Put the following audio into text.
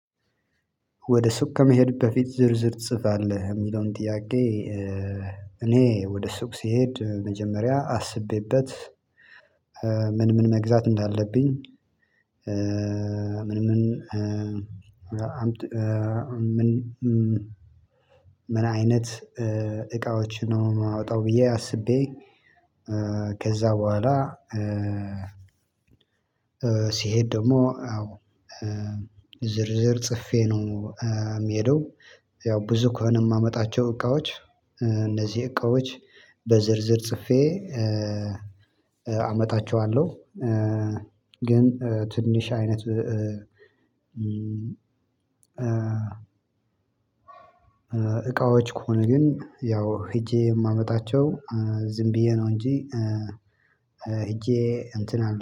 ወደ ሱቅ ከመሄድ በፊት ዝርዝር ትጽፋለህ የሚለውን ጥያቄ? እኔ ወደ ሱቅ ስሄድ መጀመሪያ አስቤበት። ምን ምን መግዛት እንዳለብኝ። ምን ምንአይነት እቃዎችን ነው የማወጣው ብዬ አስቤ። ከዛ በኋላ ሲሄድ ደግሞ ዝርዝር ጽፌ ነው የሚሄደው። ያው ብዙ ከሆነ የማመጣቸው እቃዎች እነዚህ እቃዎች በዝርዝር ጽፌ አመጣቸዋለሁ። ግን ትንሽ አይነት ከሆነ ግን ያው ሄጄ የማመጣቸው ዝም ብዬ ነው እንጂ ሄጄ እንትን አለ